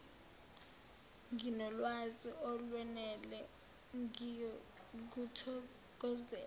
nginolwazi olwenele ngiyokuthokozela